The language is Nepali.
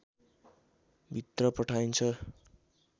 भित्र पठाइन्छ